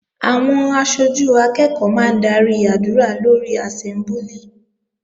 Àwọn aṣojú akẹ́ẹ̀kọ́ máa ń darí àdúrà lórí àsẹ́mbúlì